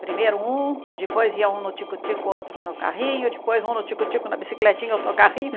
Primeiro um, depois ia um no tico-tico, outro no carrinho, depois um no tico-tico, na bicicletinha, outro no carrinho.